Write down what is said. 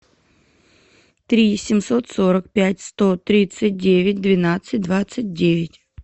три семьсот сорок пять сто тридцать девять двенадцать двадцать девять